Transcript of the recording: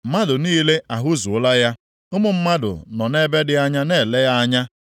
Mmadụ niile ahụzuola ya; ụmụ mmadụ nọ nʼebe dị anya na-ele ya anya.